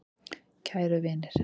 Kæru vinir.